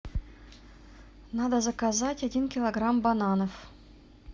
надо заказать один килограмм бананов